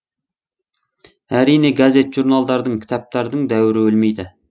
әрине газет журналдардың кітаптардың дәуірі өлмейді